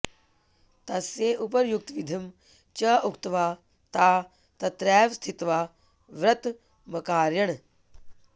तस्य उपर्युक्तविधिं च उक्त्वा ताः तत्रैव स्थित्वा व्रतमकारयन्